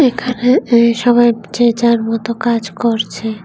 এখানে এ সবাই যে যার মত কাজ করছে।